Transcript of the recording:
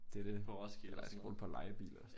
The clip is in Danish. Det det. Eller jeg skal bruge det på at leje bil og